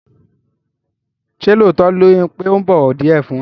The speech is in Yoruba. Ṣé lóòótọ́ ni pé ò bọ̀wọ̀ díẹ̀ fun?